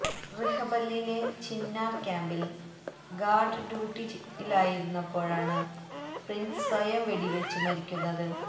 റിഹമ്പലിലെ ചിന്നാർ ക്യാമ്പിൽ ഗാർഡ് ഡ്യൂട്ടിയിലായിരുന്നപ്പോഴാണ് പ്രിൻസ് സ്വയം വെടിവച്ച് മരിക്കുന്നത്